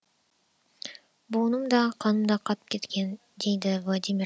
буыным да қаным да қатып кеткен дейді владимир